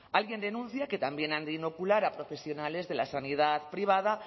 alguien denuncia que también han de inocular a profesionales de la sanidad privada